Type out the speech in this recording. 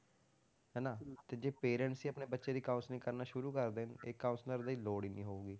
ਹਨਾ ਤੇ ਜੇ parents ਹੀ ਆਪਣੇ ਬੱਚੇ ਦੀ counselling ਕਰਨਾ ਸ਼ੁਰੂ ਕਰ ਦੇਣ ਇਹ counselor ਦੀ ਲੋੜ ਹੀ ਨੀ ਹੋਊਗੀ